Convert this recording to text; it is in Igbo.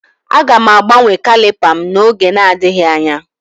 Aga m agbanwe caliper m n'oge adịghị anya